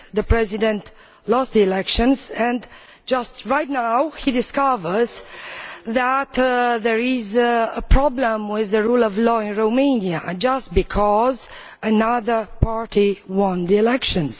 The President lost the elections and now he discovers that there is a problem with the rule of law in Romania just because another party won the elections.